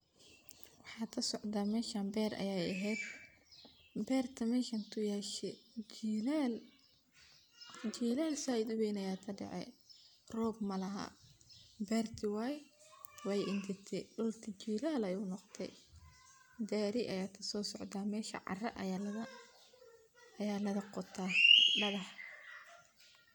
Waxa kasocda meshan ber ayay ehed, bertan meshan kuyashe, jilal said u weyn aya kadacay, rob malaha berti way engegte dulka jilal ayu noqde, gari aya kasococda meshan cara aya laga qota, dagax.